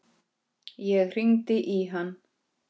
Þar sást sólin fyrr.